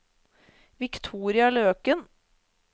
Victoria Løken